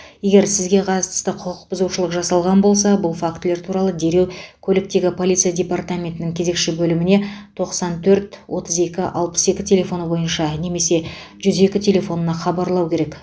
егер сізге қатысты құқық бұзушылық жасалған болса бұл фактілер туралы дереу көліктегі полиция департаментінің кезекші бөліміне тоқсан төрт отыз екі алпыс екі телефоны бойынша немесе жүз екі телефонына хабарлау керек